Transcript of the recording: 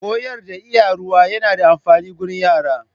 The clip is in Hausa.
Koyar da Iya Ruwa yana da amfani gurin yara.